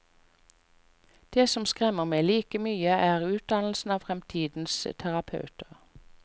Det som skremmer meg like mye, er utdannelsen av fremtidens terapeuter.